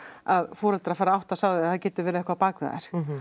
að foreldrar fari að átta sig á því að það getur verið eitthvað á bakvið þær